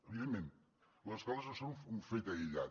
evidentment les escoles no són un fet aïllat